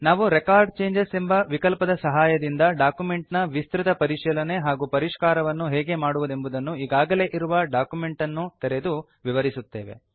ನಾವು record changes ಎಂಬ ವಿಕಲ್ಪದ ಸಹಾಯದಿಂದ ಡಾಕ್ಯುಮೆಂಟ್ ನ ವಿಸ್ತೃತ ಪರಿಶೀಲನೆ ಹಾಗೂ ಪರಿಷ್ಕಾರವನ್ನು ಹೇಗೆ ಮಾಡುವುದೆಂಬುದನ್ನು ಈಗಾಗಲೇ ಇರುವ ಡಾಕ್ಯುಮೆಂಟ್ ಅನ್ನು ತೆರೆದು ವಿವರಿಸುತ್ತೇವೆ